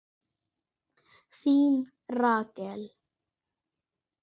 Þín Rakel.